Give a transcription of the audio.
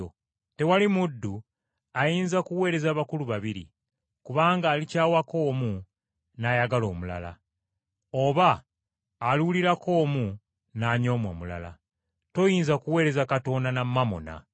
“Tewali muddu ayinza kuweereza bakulu babiri. Kubanga alikyawako omu n’ayagala omulala, oba aliwulirako omu n’anyooma omulala. Toyinza kuweereza Katonda na mamona.”